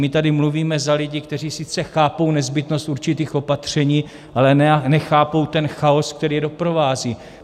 My tady mluvíme za lidi, kteří sice chápou nezbytnost určitých opatření, ale nechápou ten chaos, který je doprovází.